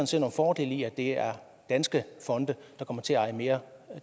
ser nogle fordele i at det er danske fonde der kommer til at eje mere